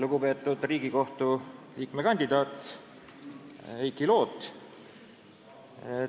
Lugupeetud Riigikohtu liikme kandidaat Heiki Loot!